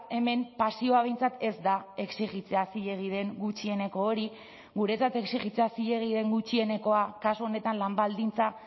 hemen pasioa behintzat ez da exijitzea zilegi den gutxieneko hori guretzat exijitzea zilegi den gutxienekoa kasu honetan lan baldintza